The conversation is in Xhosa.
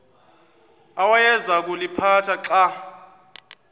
awayeza kuliphatha xa